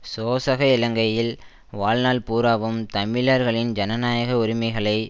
சோசக இலங்கையில் வாழ்நாள் பூராவும் தமிழர்களின் ஜனநாயக உரிமைகளை